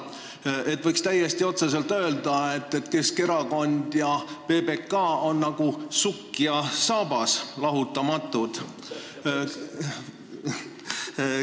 Nii et võiks täiesti otse öelda, et Keskerakond ja PBK on nagu sukk ja saabas – lahutamatud.